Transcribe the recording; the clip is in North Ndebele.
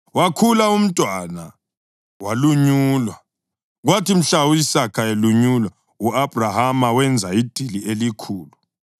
Wakhula umntwana, walunyulwa, kwathi mhla u-Isaka elunyulwa u-Abhrahama wenza idili elikhulu.